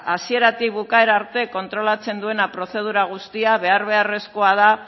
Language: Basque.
hasieratik bukaerara arte kontrolatzen duena prozedura guztia behar beharrezkoa da